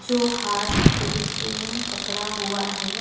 जो हाथ पे पेन पकड़ा हुआ है।